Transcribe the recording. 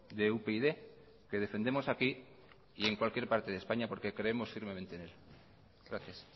de upyd que defendemos aquí y en cualquier parte de españa porque creemos firmemente en él gracias